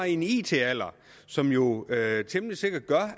i en it alder som jo temmelig sikkert gør